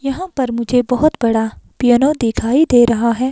यहां पर मुझे बहोत बड़ा पियानो दिखाई दे रहा है।